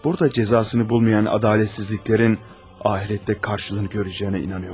Burada cəzasını tapmayan ədalətsizliklərin axirətdə qarşılığını görəcəyinə inanıram.